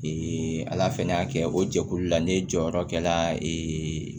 ala fana y'a kɛ o jɛkulu la ne jɔyɔrɔ kɛra